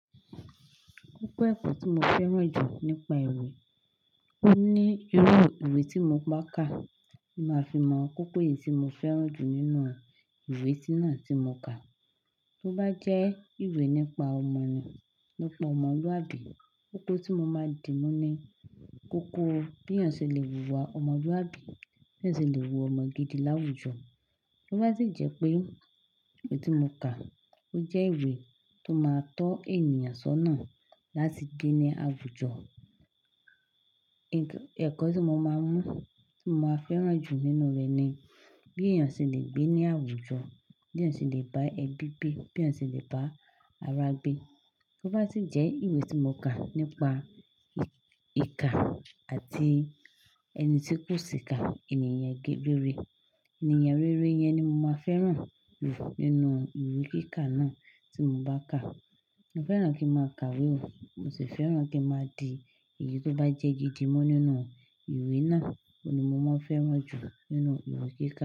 Kókó ẹ̀kọ́ tí mo fẹ́ràn jù nípa ìwé, ó ní irú ìwé tí mo bá kà, mo máa fi mọ̀ kókó èyí tí mo fẹ́ràn jù nínú ìwé tí náà tí mo kà. Tó bá jẹ́ ìwé nípa ọmọ nì, nípa ọmọlúàbí, kókó tí mo máa dì mọ́ ni, kókó bí èèyàn ṣe lè wúwa ọmọlúàbí, bí ẹeyan ṣe lè wúwa ọmọ gidi láwùjọ. Tó bá sì jẹ́ pé ìwé tí mo kà, ó jẹ́ ìwé tó máa tọ́ ènìyàn sọ́nà láti gbé ní àwùjọ, ẹ̀kọ́ tí mo máa mú, tí mo máa fẹ́ràn jù nínú rẹ̀ ni, bí èèyàn ṣe lè gbé ní àwùjọ, bí èèyàn ṣe lè bá ẹbí gbé, bí èèyàn ṣe lè bá arágbé. Tó bá sì jẹ́ ìwé tí mo kà nípa ìkà àti ẹni tí kò sì ka ènìyàn rere, ènìyàn rere yẹn ni mo máa fẹ́ràn jù nínú ìwé kíkà náà tí mo bá kà. Mo fẹ́ràn kí n máa kàwé o, mo sì fẹ́ràn kí n máa di èyí tó bá jẹ́ gidi mu nínú ìwé náà. Óun ni mo máa fẹ́ràn jù nínú ìwé kíkà.